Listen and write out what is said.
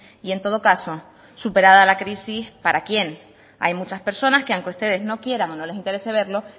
y en todo caso superada la crisis para quién hay muchas personas que aunque ustedes no quieran o no les interese verlo